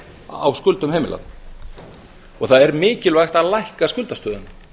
á skuldum heimila og það er mikilvægt að lækka skuldastöðuna